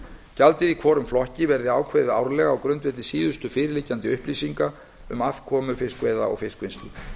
gjaldið í hvorum flokki verði ákveðið árlega á grundvelli síðustu fyrirliggjandi upplýsinga um afkomu fiskveiða og fiskvinnslu